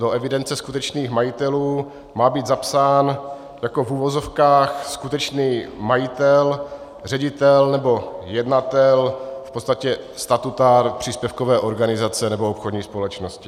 Do evidence skutečných majitelů má být zapsán jako - v uvozovkách - skutečný majitel, ředitel nebo jednatel, v podstatě statutár příspěvkové organizace nebo obchodní společnosti.